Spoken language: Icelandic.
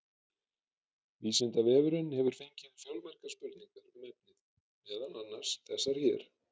Vísindavefurinn hefur fengið fjölmargar spurningar um efnið, meðal annars þessar hér: